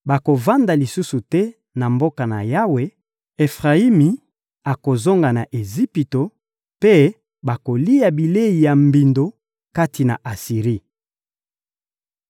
Bakovanda lisusu te na mboka na Yawe; Efrayimi akozonga na Ejipito, mpe bakolia bilei ya mbindo kati na Asiri.